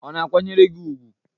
Ọ̀ na-akwanyere gị ùgwù?